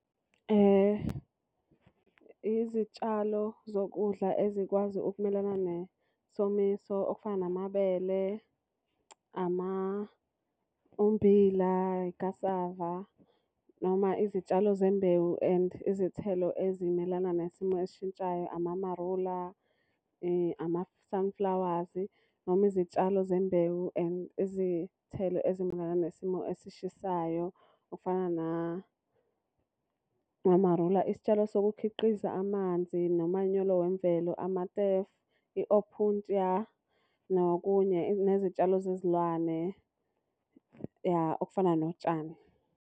Izitshalo zokudla ezikwazi ukumelana nesomiso okufana namabele, ummbila, ikhasava. Noma izitshalo zembewu and izithelo ezimelana nesimo esishintshayo amamarula, ama-sunflowers. Noma izitshalo zembewu and izithelo ezimelana nesimo esishisayo okufana namamarula. Isitshalo sokukhiqiza amanzi nomanyolo wemvelo, , i-Opuntia. Nokunye nezitshalo zezilwane ya okufana notshani.